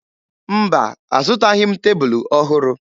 Mba, azụtaghị m tebulu ọhụrụ